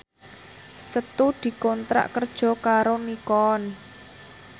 Setu dikontrak kerja karo Nikon